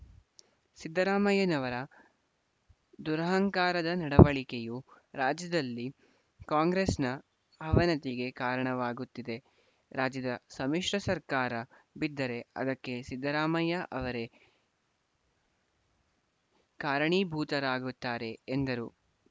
ಸಿದ್ದರಾಮಯ್ಯನವರ ದುರಹಂಕಾರದ ನಡವಳಿಕೆಯು ರಾಜ್ಯದಲ್ಲಿ ಕಾಂಗ್ರೆಸ್‌ನ ಅವನತಿಗೆ ಕಾರಣವಾಗುತ್ತಿದೆ ರಾಜ್ಯದ ಸಮ್ಮಿಶ್ರ ಸರ್ಕಾರ ಬಿದ್ದರೆ ಅದಕ್ಕೆ ಸಿದ್ದರಾಮಯ್ಯ ಅವರೇ ಕಾರಣೀಭೂತರಾಗುತ್ತಾರೆ ಎಂದರು